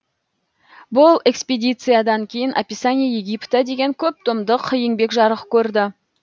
бұл экспедициядан кейін описание египта деген көп томдық еңбек жарық көрді